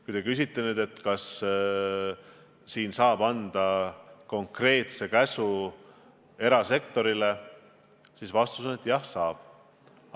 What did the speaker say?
Kui te küsite, kas siin saab anda erasektorile konkreetse käsu, siis vastus on, et jah, saab küll.